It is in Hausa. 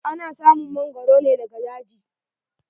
Ana samun mangoro ne daga daji.